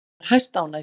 Ég var hæstánægð.